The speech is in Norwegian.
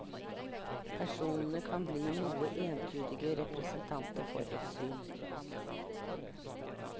Personene kan bli noe entydige representanter for et syn.